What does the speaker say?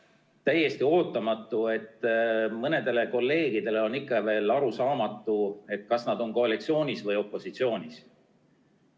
Minu jaoks on täiesti ootamatu, et mõnele kolleegile on ikka veel arusaamatu, kas nad on koalitsioonis või opositsioonis.